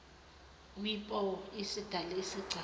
wipo isidale isigcawu